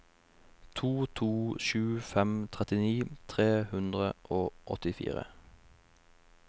to to sju fem trettini tre hundre og åttifire